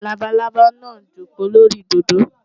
Labalábá náà jókòó lórí òdòdó.